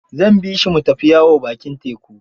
Zan bi shi mu tafi yawo bakin teku.